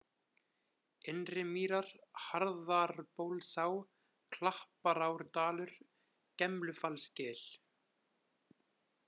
Innri-Mýrar, Hjarðarbólsá, Klapparárdalur, Gemlufallsgil